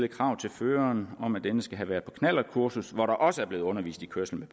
krav til føreren om at denne skal have været på knallertkursus hvor der også er blevet undervist i kørsel